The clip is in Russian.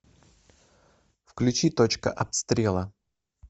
включи точка обстрела